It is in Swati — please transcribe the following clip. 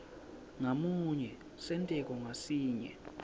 ngamunye senteko ngasinye